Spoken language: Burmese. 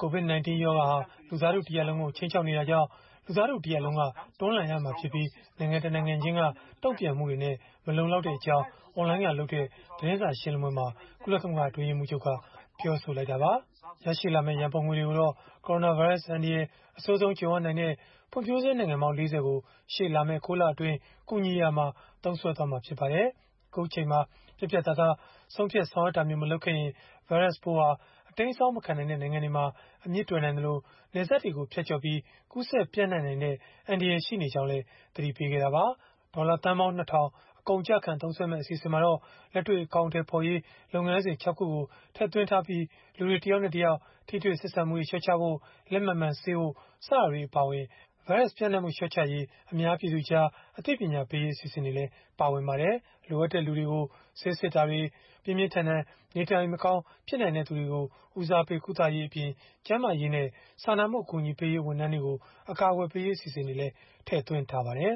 “COVID-19 ရောဂါဟာ လူသားထုတရပ်လုံးကို ခြိမ်းခြောက်နေတာကြောင့် လူသားထု တရပ်လုံးက တွန်းလှန်ရမှာဖြစ်ပြီး နိုင်ငံတနိုင်ငံချင်းက တုံ့ပြန်မှုတွေနဲ့ မလုံလောက်ကြောင်း” အွန်လိုင်းကလုပ်တဲ့ သတင်းစာရှင်းလင်းပွဲမှာ ကုလသမဂ္ဂ အတွင်းရေးမှူးချုပ်က ပြောဆိုလိုက်တာပါ။ ရရှိလာမယ့် ရန်ပုံငွေတွေကိုတော့ ကိုရိုနာဗိုင်းရပ်စ် အန္တရာယ် အဆိုးဆုံးကြုံရနိုင်တဲ့ ဖွံ့ဖြိုးဆဲနိုင်ငံပေါင်း ၄၀ ကို ရှေ့လာမယ့် ၉ လအတွင်း ကူညီရာမှာ သုံးစွဲမှာဖြစ်ပါတယ်။ အခုအချိန်မှာ ပြတ်ပြတ်သားသား ဆုံးဖြတ်ဆောင်ရွက်တာမျိုး မလုပ်ခဲ့ရင် ဗိုင်းရပ်စ်ပိုးဟာ အတိမ်းအစောင်းမခံနိုင်တဲ့ နိုင်ငံတွေမှာ အမြစ်တွယ်နိုင်သလို၊ နယ်စပ်တွေကို ဖြတ်ကျော်ပြီး ကူးစက်ပျံ့နှံ့နိုင်တဲ့ အန္တရာယ်ရှိနေကြောင်းလည်း သတိပေးခဲ့တာပါ။ ဒေါ်လာသန်း ၂ ထောင် အကုန်အကျခံ သုံးစွဲမယ့် အစီအစဉ်မှာတော့ လက်တွေ့ အကောင်အထည်ပေးရေး လုပ်ငန်းစဉ် ၆ ခုကို ထည့်သွင်းထားပြီး၊ လူတွေ တယောက်နဲ့တယောက် ထိတွေ့ဆက်ဆံမှုတွေ လျှော့ချဖို့၊ လက်မှန်မှန်ဆေးဖို့ စတာတွေ အပါအဝင် ဗိုင်းရပ်စ်ပျံ့နှံ့မှု လျှော့ချရေး အများပြည်သူကြား အသိပညာပေးရေး အစီအစဉ်တွေလည်း ပါဝင်ပါတယ်။ လိုအပ်တဲ့လူတွေကို ဆေးစစ်တာတွေ၊ ပြင်းပြင်းထန်ထန် နေထိုင်မကောင်း ဖြစ်နိုင်တဲ့သူတွေကို ဦးစားပေး ကုသရေးအပြင် ကျန်းမာရေးနဲ့ စာနာမှု အကူအညီပေးရေး ဝန်ထမ်းတွေကို အကာအကွယ်ပေးရေး အစီအစဉ်တွေလည်း ထည့်သွင်းထားပါတယ်